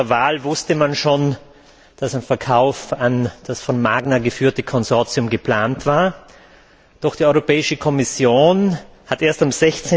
Lange vor der Wahl wusste man schon, dass ein Verkauf an das von Magna geführte Konsortium geplant war, doch die Europäische Kommission hat erst am